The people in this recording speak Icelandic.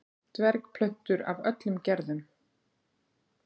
dvergplöntur af öllum gerðum